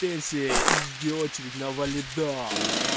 пенсия и жди очереди на валидол